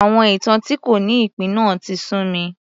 Àwọn ìtàn tí kò ní ìpín náà tí sú mi